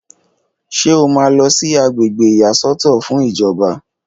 Ṣé o máa lọ sí àgbègbè ìyàsọ́tọ̀ fún ìjọba?